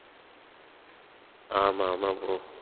ஆமா ஆமா bro